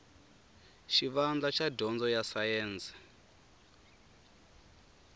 xivandla xa dyondzo ya sayense